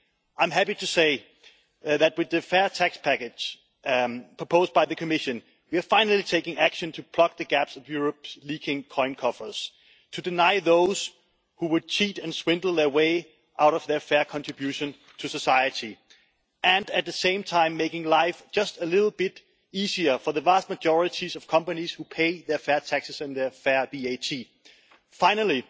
I'm happy to say that we the fair tax package proposed by the Commission we are finally taking action to plug the gaps of Europe's leaking coin coffers, to deny those who would cheat and swindle their way out of their fair contribution to society and, at the same time, making life just a little bit easier for the vast majority of companies who pay their fair taxes and their fair VAT. Finally,